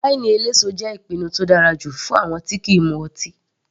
Wáínì eléso jẹ́ ìpinnu tó dára jù fún àwọn tí kìí mu ọtí.